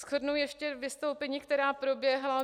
Shrnu ještě vystoupení, která proběhla.